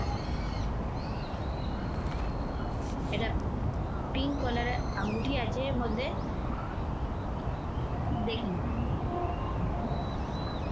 এটা pink color এর আঙ্গুঠি আছে এর মধ্যে দেখুন।